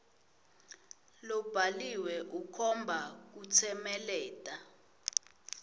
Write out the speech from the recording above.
lobhaliwe ukhomba kutsemeleta